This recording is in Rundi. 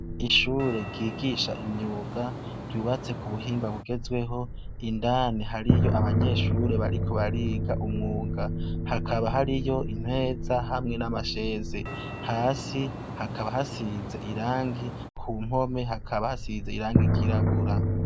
Ishure ryigisha imyuga ryubatse ku buhinga bugezweho indani hariyo abanyeshure bariko bariga umwuga hakaba hariyo imeza hamwe n'amasheze, hasi hakaba hasize irangi, ku mpome hakaba hasize irangi ryirabura.